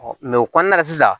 o kɔnɔna la sisan